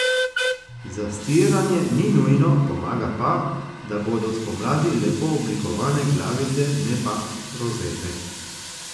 Zastiranje ni nujno, pomaga pa, da bodo spomladi lepo oblikovane glavice ne pa rozete.